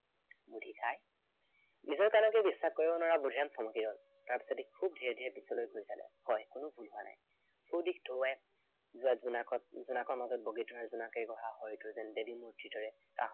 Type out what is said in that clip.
বুদ্ধিকাই। নিজৰ কাণকে বিশ্বাস কৰিব নোৱাৰা বুদ্ধিৰাম থমকি ৰল। তাৰপিছতেই ধীৰে ধীৰে পিছলৈ ঘূৰি চালে, হয় কোনো ভুল হোৱা নাই। চৌদিশ ধোৱাই যেৱা জোনাকৰ উজ্বলাকণত বগীতৰা জোনাক সেই কথা হয়তো দেৱীৰ মুৰ্তিৰ দৰে